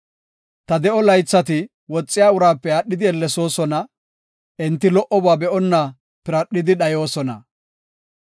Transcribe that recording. Ta de7o laythati woxiya uraape aadhidi ellesoosona; enti lo77oba be7onna piradhidi dhayoosona.